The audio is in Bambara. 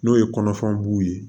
N'o ye kɔnɔfɛn b'u ye